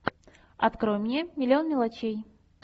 открой мне миллион мелочей